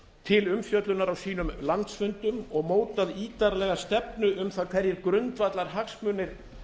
til umfjöllunar á sínum landsfundum og mótað ítarlega stefnu um það hverjir grundvallarhagsmunir